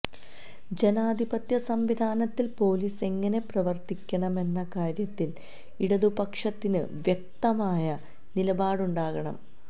ജനാധിപത്യ സംവിധാനത്തിൽ പോലീസ് എങ്ങനെ പ്രവർത്തിക്കണം എന്ന കാര്യത്തിൽ ഇടതുപക്ഷത്തിന് വ്യക്തമായ നിലപാടുണ്ടാകണം